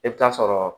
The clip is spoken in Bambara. I bɛ taa sɔrɔ